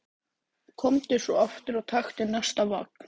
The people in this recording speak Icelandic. Gangi þér allt í haginn, Kaktus.